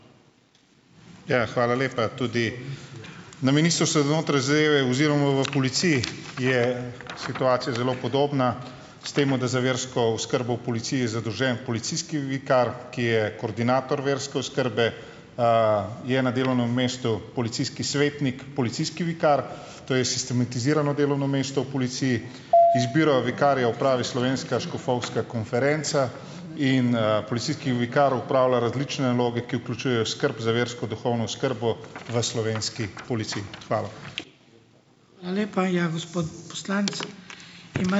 Ja, hvala lepa tudi. Na Ministrstvu za notranje zadeve oziroma v policiji je situacija zelo podobna, s tem, da za versko oskrbo v policiji je zadolžen policijski vikar, ki je koordinator verske oskrbe. Je na delovnem mestu policijski svetnik - policijski vikar. To je sistematizirano delovno mesto v policiji. Izbiro vikarja opravi slovenska škofovska konferenca in, policijski vikar opravlja različne naloge, ki vključujejo oskrb za versko duhovno oskrbo v slovenski policiji. Hvala.